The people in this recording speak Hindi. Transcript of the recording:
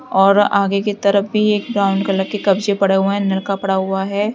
और आगे की तरफ भी एक ब्राउन कॉलर की कब्जे पड़ा हुआ है पड़ा हुआ है।